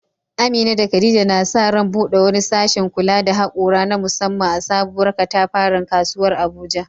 Amina da Khadija na sa ran bude wani sashen kula da haƙora na musamman a sabuwar katafaren kasuwar Abuja.